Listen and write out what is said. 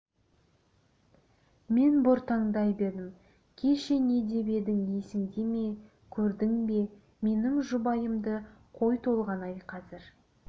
мен бұртаңдай бердім кеше не деп едің есіңде ме көрдің бе менің жұбайымды қой толғанай қазір